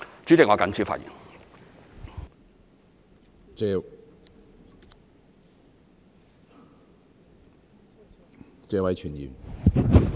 主席，我謹此發言。